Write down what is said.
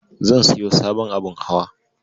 Zan siyo sabon abun hawa.